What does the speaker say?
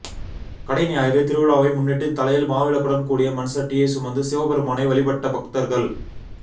கடைஞாயிறு திருவிழாவை முன்னிட்டு தலையில் மாவிளக்குடன் கூடிய மண்சட்டியை சுமந்து சிவபெருமான வழிபட்ட பக்தா்கள்